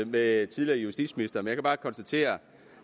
med tidligere justitsministre men jeg kan bare konstatere